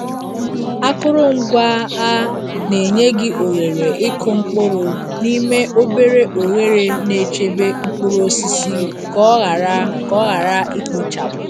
Akụrụngwa a na-enye gị ohere ịkụ mkpụrụ n'ime obere oghere na-echebe mkpụrụ osisi ka ọ ghara ka ọ ghara ikpochapụ.